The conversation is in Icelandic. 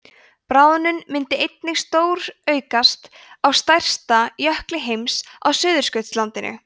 bráðnun myndi einnig stóraukast á stærsta jökli heims á suðurskautslandinu